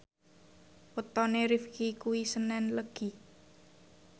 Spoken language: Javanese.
wetone Rifqi kuwi senen Legi